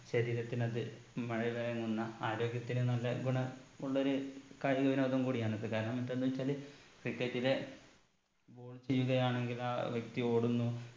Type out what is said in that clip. ശരീരത്തിന് അത് മഴുവയങ്ങുന്ന ആരോഗ്യത്തിന് നല്ല ഗുണമുള്ളൊരു കായിക വിനോദം കൂടിയാണ് അത് കാരണം മറ്റൊന്ന് വെച്ചാല് cricket ലെ ball ചെയ്യുകയാണെങ്കിൽ ആ വ്യക്തി ഓടുന്നു